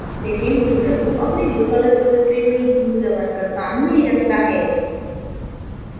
लेकिन user2 अपनी local repository में user1 का काम नहीं रखता है